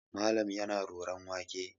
Malam yana roron wake.